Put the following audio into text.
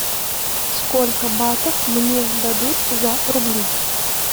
сколько батов мне дадут за рубли